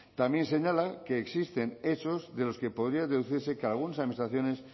también señalan que existen hechos de los que podría deducirse que algunas administraciones